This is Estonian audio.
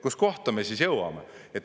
Kus kohta me siis jõuame?!